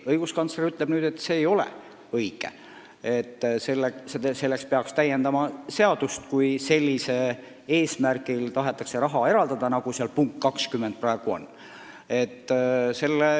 Õiguskantsler ütleb nüüd, et see ei ole õige, et peaks täiendama seadust, kui tahetakse raha eraldada sellisel eesmärgil, nagu punktis 20 praegu on.